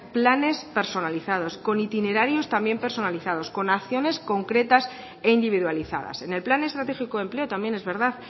planes personalizados con itinerarios también personalizados con acciones concretas e individualizadas en el plan estratégico de empleo también es verdad